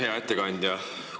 Hea ettekandja!